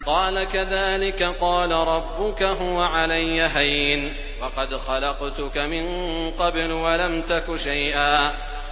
قَالَ كَذَٰلِكَ قَالَ رَبُّكَ هُوَ عَلَيَّ هَيِّنٌ وَقَدْ خَلَقْتُكَ مِن قَبْلُ وَلَمْ تَكُ شَيْئًا